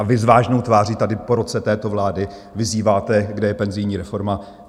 A vy s vážnou tváří tady po roce této vlády vyzýváte, kde je penzijní reforma?